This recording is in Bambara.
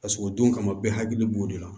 Paseke o don kama bɛɛ hakili b'o de la